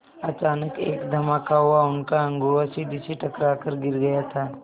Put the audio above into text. अचानक एक धमाका हुआ उनका अगुआ सीढ़ी से टकरा कर गिर गया था